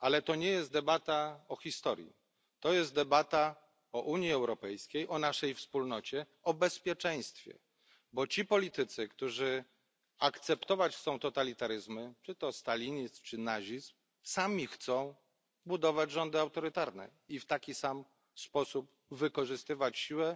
Ale to nie jest debata o historii, to jest debata o Unii Europejskiej, o naszej wspólnocie, o bezpieczeństwie, bo ci politycy, którzy akceptować chcą totalitaryzmy, czy to stalinizm, czy nazizm, sami chcą budować rządy autorytarne i w taki sam sposób wykorzystywać siłę